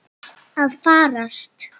Að farast?